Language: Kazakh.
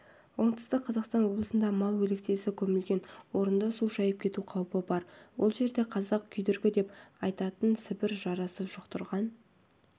оңтүстік қазақстан облысында мал өлексесі көмілген орынды су шайып кету қаупі бар ол жерде қазақ күйдіргі деп айтатын сібір жарасын жұқтырған